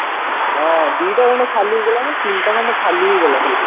ହଁ ଦିଟା ଖଣ୍ଡ ଖାଲି ହେଇଥିଲା ନାଁ ତିନିଟା ଖଣ୍ଡେ ଖାଲି ହେଇଗଲା ସେଇଠୁ